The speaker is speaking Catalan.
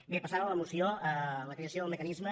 bé passant a la moció la creació del mecanisme